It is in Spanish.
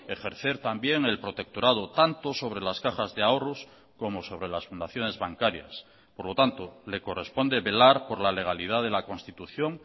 ejercer también el protectorado tanto sobre las cajas de ahorros como sobre las fundaciones bancarias por lo tanto le corresponde velar por la legalidad de la constitución